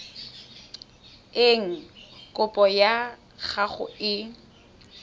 eng kopo ya gago e